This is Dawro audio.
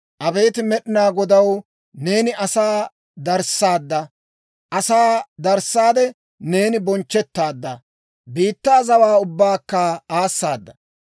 Abeet Med'inaa Godaw! Neeni asaa darissaadda. Asaa darissaade, neeni bonchchettaadda; biittaa zawaa ubbaakka aassaada.